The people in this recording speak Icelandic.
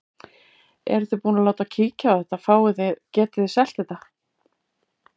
Eruð þið búin að láta kíkja á þetta, fáið þið, getið þið selt þetta?